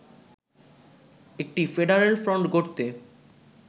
একটি ‘federal front’ গড়তে